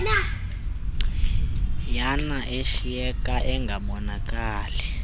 yana ashiyeke engabonakali